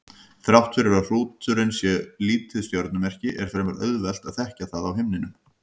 Þrátt fyrir að hrúturinn sé lítið stjörnumerki er fremur auðvelt að þekkja það á himninum.